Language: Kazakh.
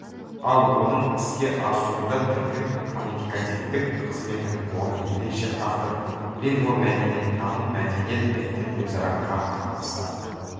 ал оның іске асуында тілдің коммуникативтік қызметінің орны ерекше автор лингвомәдениеттаным мәдениет пен тіл өзара қарым-қатынаста